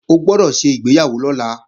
O gbọ́dọ̀ ṣègbéyàwó lọ́la!